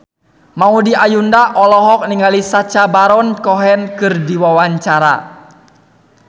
Maudy Ayunda olohok ningali Sacha Baron Cohen keur diwawancara